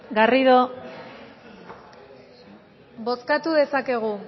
bozkatu dezakegu